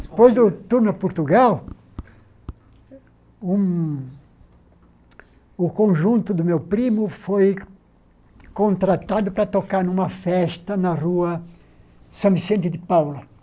Depois do tour no Portugal, um o conjunto do meu primo foi contratado para tocar numa festa na rua São Vicente de Paula.